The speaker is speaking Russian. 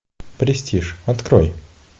престиж открой